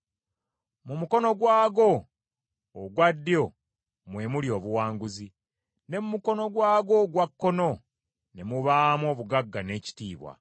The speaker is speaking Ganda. Mu mukono gwago ogwa ddyo mwe muli obuwanguzi; ne mu mukono gwago ogwa kkono ne mubaamu obugagga n’ekitiibwa.